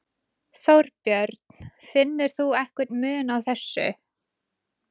Þorbjörn: Finnur þú einhvern mun á þessu?